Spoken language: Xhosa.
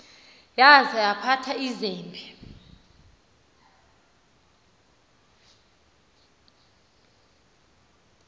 yaza yaphatha izembe